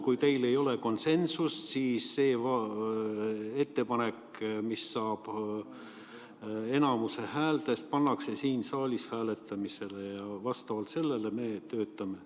Kui teil ei ole konsensust, siis see ettepanek, mis saab häälteenamuse, pannakse siin saalis hääletamisele ja vastavalt sellele me töötame.